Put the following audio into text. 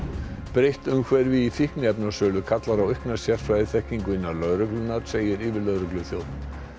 breytt umhverfi í fíkniefnasölu kallar á aukna sérfræðiþekkingu innan lögreglunnar segir yfirlögregluþjónn